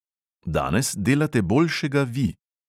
Danes delate boljšega vi.